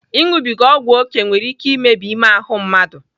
Ịnụbiga ọgwu oké nwere ike imebi ime ahụ mmadụ.